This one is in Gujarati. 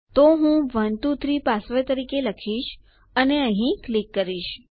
તો હું 123 પાસવર્ડ તરીકે લખીશ અને હું અહીં ક્લિક કરીશ